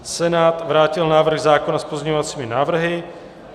Senát vrátil návrh zákona s pozměňovacími návrhy.